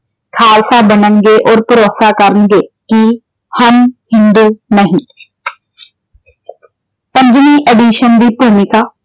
ਖਾਲਸਾ ਬਣਨਗੇ ਔਰ ਭਰੋਸਾ ਕਰਨਗੇ। ਕਿ ਹਮ ਹਿੰਦੂ ਨਹੀਂ। ਪੰਜਵੀਂ edition ਦੀ ਭੂਮਿਕਾ